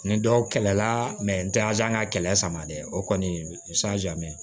Ni dɔw kɛlɛ la ntɛnɛn ka kɛlɛ sama dɛ o kɔni